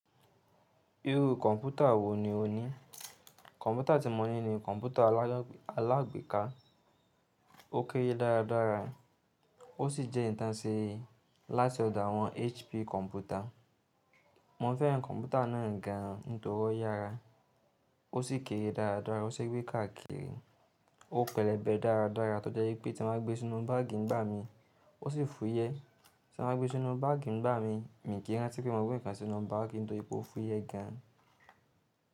Irú kọ̀mpútà wò ní o ní? Kọ̀mpútà tí mo ní ni kọ̀mpútà alágbèéká, ó kéré dára dára ó sì jẹ́ ìtánṣẹ́ láti ọ̀dọ̀ àwọn HP kọ̀mpútà. Mo fẹ́ràn kọ̀mpútà náà gan nítorí yára, ó sì kéré dára dára, ó sì gbé káàkiri, ó pẹlẹbẹ dára dára tó jẹ́ pé tí mo bá gbé e sínú báàgì ń bá mi, ó sì fúyẹ́. Tí mo bá gbé e sínú báàgì ń bá mi, mi kí í rántí pé mo gbé nǹkan sínú báàgì nítorí pé ó fúyẹ́ gan.